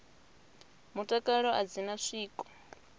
mutakalo a dzi na zwiko